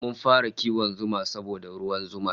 Mun fara kiwon zuma saboda ruwan zumar